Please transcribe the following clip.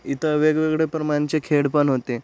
इथ वेगवेगळ्या प्रमाणचे खेळ पण होते.